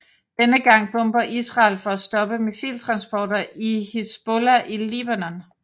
Denne gang bomber Israel for at stoppe missiltransporter til Hizbollah i Libanon